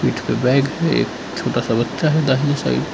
पीठ पर बैग है एक छोटा सा बच्चा है दाहिने साइड ।